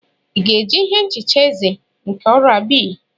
Ị ga-eji ihe nchicha eze nke oral B?